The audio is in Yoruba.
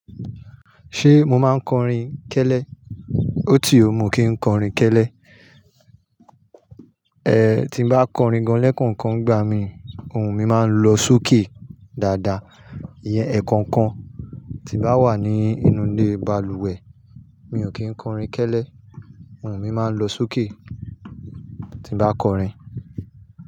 Ṣé mo máa ń kọrin kẹ́lẹ́? Ó ti ò mọ kí ń kọrin kẹ́lẹ́. E, tí n bá kọrin gan-an lẹ́kookan ń'gba mi, ohun mi máa ń lọ sókè dáadáa. Ìyẹn, ẹ̀kookan tí bá wà ní inú ilé balùwẹ̀, mi ò kí ń kọrin kẹ́lẹ́. Ohun mi máa ń lọ sókè tí bá kọrin.